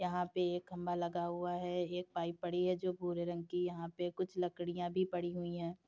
यहां पर एक खंभा लगा हुआ है। एक पाइप पड़ी है जो भूरे रंग की। यहां पर कुछ लाकड़िया भी पड़ी हुई हैं।